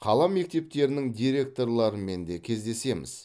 қала мектептерінің директорларымен де кездесеміз